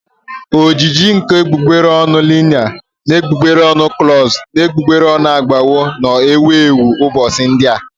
Ojiji nke egbugbere ọnụ liner na egbugbere ọnụ gloss na egbugbere ọnụ aghọwo nnọọ ewu ewu ụbọchị ndị a